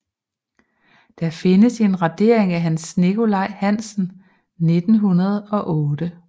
Der findes en radering af Hans Nikolaj Hansen 1908